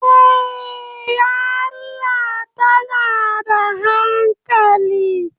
Eh, yariya tana da hankali